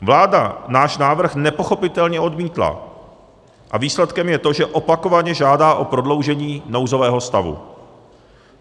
Vláda náš návrh nepochopitelně odmítla a výsledkem je to, že opakovaně žádá o prodloužení nouzového stavu.